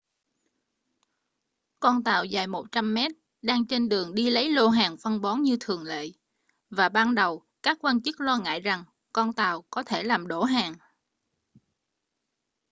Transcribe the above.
con tàu dài 100 mét đang trên đường đi lấy lô hàng phân bón như thường lệ và ban đầu các quan chức lo ngại rằng con tàu có thể làm đổ hàng